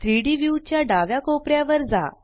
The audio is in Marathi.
3डी व्यू च्या डाव्या कोपऱ्यावर जा